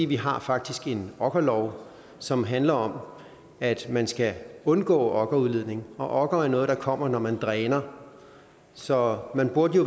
vi har faktisk en okkerlov som handler om at man skal undgå okkerudledning okker er noget der kommer når man dræner så man burde jo